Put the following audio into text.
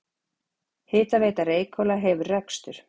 Hitaveita Reykhóla hefur rekstur.